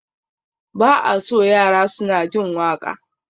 Ba a so yara suna jin waƙa